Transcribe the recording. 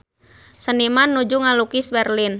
Seniman nuju ngalukis Berlin